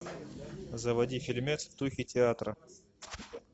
заводи фильмец в духе театра